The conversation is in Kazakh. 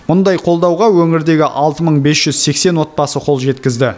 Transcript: мұндай қолдауға өңірдегі алты мың бес жүз сексен отбасы қол жеткізді